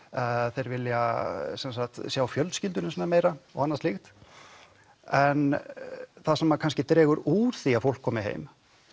þeir vilja sjá fjölskylduna sína meira og annað slíkt en það sem kannski dregur úr því að fólk komi heim